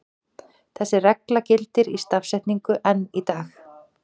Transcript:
Þessi regla gildir í stafsetningu enn í dag.